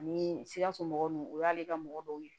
Ani sikaso mɔgɔw ninnu o y'ale ka mɔgɔ dɔw ye